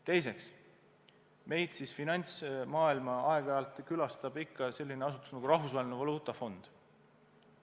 Teiseks, finantsmaailma aeg-ajalt külastab selline asutus nagu Rahvusvaheline Valuutafond.